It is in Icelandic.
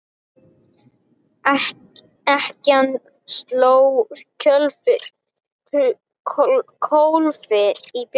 Ekkjan sló kólfi í bjöllu.